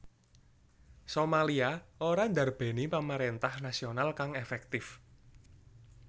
Somalia ora ndarbèni pamaréntah nasional kang efektif